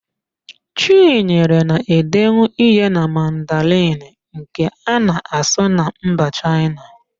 Chinyere na-edenwu ihe na Mandarịn nke a na-asụ na mba Chaịna